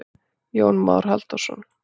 Jón Már Halldórsson.